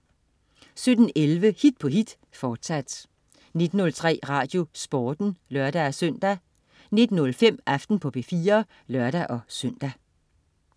17.11 Hit på hit, fortsat 19.03 RadioSporten (lør-søn) 19.05 Aften på P4 (lør-søn)